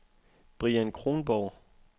Brian Kronborg